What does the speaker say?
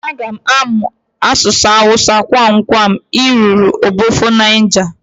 Aga amụ asụsụ awusa ngwangwa ị ruru obofo Niger